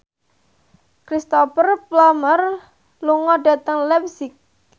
Cristhoper Plumer lunga dhateng leipzig